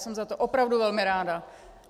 Jsem za to opravdu velmi ráda.